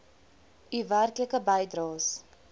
u werklike bydraes